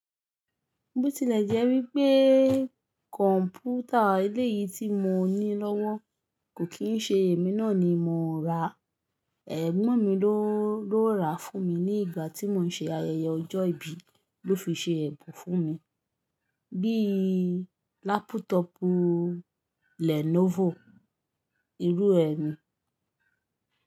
Bí ó tilẹ̀ jẹ́ wípé kọ̀ǹpútà eleyìí tí mo ní lọ́wọ́ kò kí ń ṣe èmi náà ni mo ra, ẹ̀gbọ́n mi ló ra á fún mi ní ìgbà tí mò ń ṣe ayẹyẹ ọjọ́ ìbí ló fi ṣe ẹ̀bùn fún mi. Bí i lápútọ̀pù Lenovo irúe ni.